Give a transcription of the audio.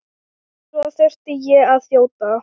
Svo þurfti ég að þjóta.